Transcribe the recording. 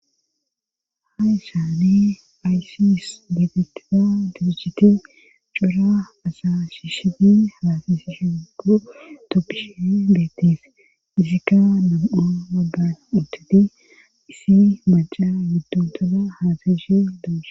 Ha isaani aysi is deetetisa dibiciti cura asashishedi haasisi shenqo topphishe beettif izikka dam7a baggan utteti isi maca yudduntoda haasashe doso